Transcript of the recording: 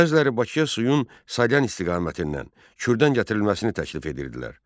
Bəziləri Bakıya suyun Salyan istiqamətindən Kürdən gətirilməsini təklif edirdilər.